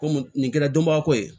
Komi nin kɛra donbako ye